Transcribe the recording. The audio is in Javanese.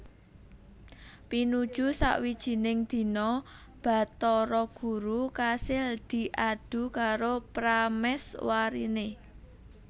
Pinuju sawijining dina Bathara Guru kasil diadu karo pramèswariné